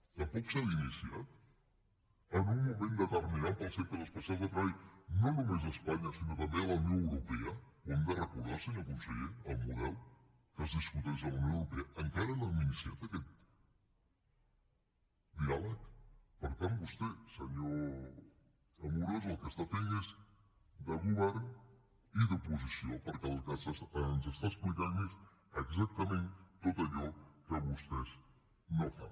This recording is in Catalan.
tampoc s’ha iniciat en un moment determinant per als centres especials de treball no només a espanya sinó també a la unió europea ho hem de recordar senyor conseller el model que es discuteix a la unió europea encara no hem iniciat aquest diàleg per tant vostè senyor amorós el que està fent és de govern i d’oposició perquè el que ens està explicant és exactament tot allò que vostès no fan